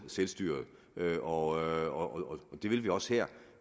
selvstyret og det vil vi også her